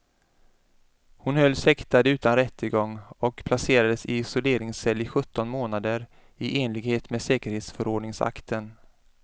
Hon hölls häktad utan rättegång och placerades i isoleringscell i sjutton månader i enlighet med säkerhetsförordningsakten.